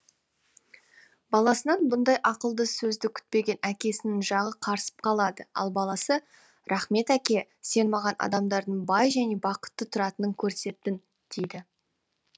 баласынан бұндай ақылды сөзді күтпеген әкесінің жағы қарысып қалады ал баласы рахмет әке сен маған адамдардың бай және бақытты тұратынын көрсеттің дейді